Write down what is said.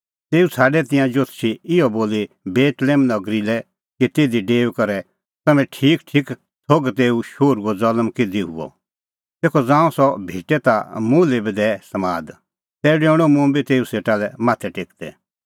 तेऊ छ़ाडै तिंयां जोतषी इहअ बोली बेतलेहम नगरी लै कि तिधी डेऊई करै तम्हैं ठीकठीक थोघ कि तेऊ शोहरूओ ज़ल्म किधी हुअ तेखअ ज़ांऊं सह भेटे ता मुल्है बी दैऐ समाद तै डेऊणअ मुंबी तेऊ सेटा लै माथै टेकदै